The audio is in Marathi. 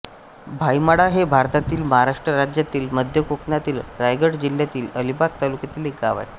भाईमाळा हे भारतातील महाराष्ट्र राज्यातील मध्य कोकणातील रायगड जिल्ह्यातील अलिबाग तालुक्यातील एक गाव आहे